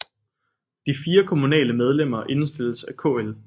De 4 kommunale medlemmer indstilles af KL